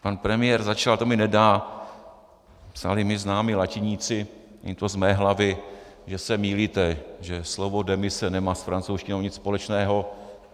Pan premiér začal, to mi nedá, psali mi známí latiníci, není to z mé hlavy, že se mýlíte, že slovo demise nemá s francouzštinou nic společného.